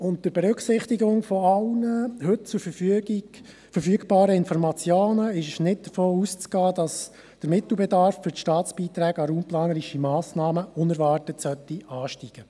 Unter Berücksichtigung von allen heute verfügbaren Informationen ist nicht davon auszugehen, dass der Mittelbedarf für die Staatsbeiträge an raumplanerische Massnahmen unerwartet ansteigen sollten.